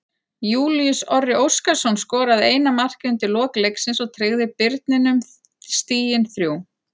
Júlíus Orri Óskarsson skoraði eina markið undir lok leiksins og tryggði Birninum stigin þrjú.